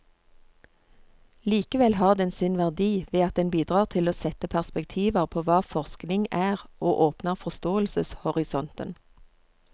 Likevel har den sin verdi ved at den bidrar til å sette perspektiver på hva forskning er og åpner forståelseshorisonten.